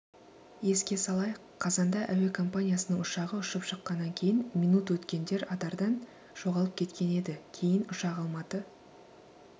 еске салайық қазанда әуекомпаниясының ұшағы ұшып шыққаннан кейін минут өткендерадардан жоғалып кеткен еді кейін ұшақ алматы